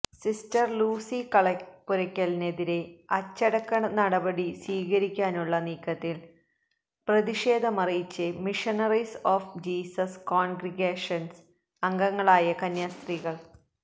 sister Lucy കളപ്പുരയ്ക്കെതിരേ അച്ചടക്ക നടപടി സ്വീകരിക്കാനുള്ള നീക്കത്തില് പ്രതിഷേധമറിയിച്ച് മിഷണറീസ് ഓഫ് ജീസസ് കോണ്ഗ്രിഗേഷന് അംഗങ്ങളായ കന്യാസ്ത്രീകള്